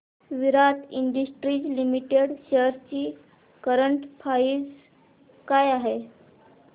विराट Industries Limited shares ची current price काय आहे